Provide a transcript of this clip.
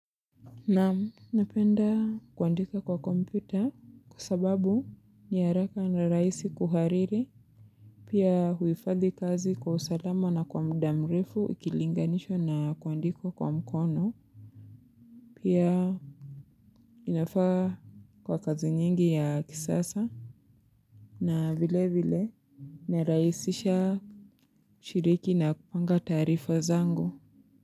Naam napenda kuandika kwa kompyuta kwa sababu ni haraka na rahisi kuhariri pia huifagi kazi kwa usalama na kwa mdamrifu ikilinganisho na kuandiko kwa mkono pia inafaa kwa kazi nyingi ya kisasa na vile vile naraisisha shiriki na kupanga tarifa zangu.